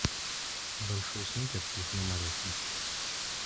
большой сникерс с лесным орехом